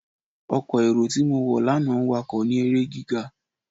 Ọkọ́ éró ti mo wọ lana n wakọ ni ere giga.